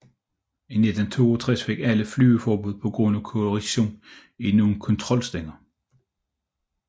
I 1962 fik alle flyene flyveforbud på grund af korrosion i nogle kontrolstænger